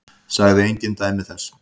Sagði engin dæmi þess.